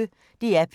DR P1